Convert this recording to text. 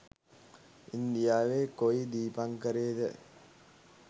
ඉන්දියාවෙ කොයි දීපංකරේද